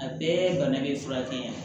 A bɛɛ bana be furakɛ